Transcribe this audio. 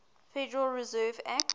federal reserve act